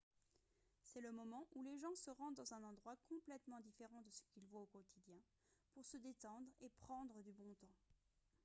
c'est le moment où les gens se rendent dans un endroit complètement différent de ce qu'il voit au quotidien pour se détendre et prendre du bon temps